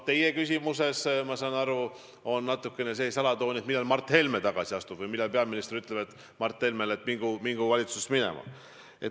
Teie küsimusel, ma saan aru, on natukene see alatoon, millal Mart Helme tagasi astub või millal peaminister ütleb Mart Helmele, et mingu valitsusest minema.